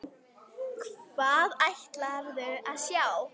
Hvað ætlarðu að sjá?